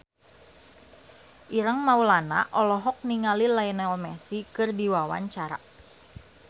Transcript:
Ireng Maulana olohok ningali Lionel Messi keur diwawancara